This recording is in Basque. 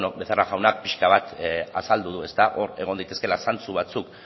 beno becerra jauna pixka bat azaldu du hor egon daitezkela zantzu batzuk